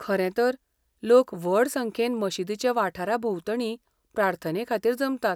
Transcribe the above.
खरें तर, लोक व्हड संख्येन मशीदीचे वाठारा भोंवतणीं प्रार्थनेखातीर जमतात.